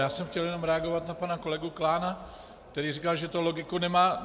Já jsem chtěl jenom reagovat na pana kolegu Klána, který říkal, že to logiku nemá.